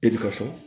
E bi ka so